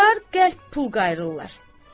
bunlar qəlp pul qayrırlar.